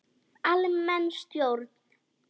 Almenn stjórn.